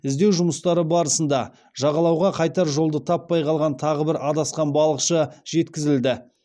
іздеу жұмыстары барысында жағалауға қайтар жолды таппай қалған тағы бір адасқан балықшы жеткізілді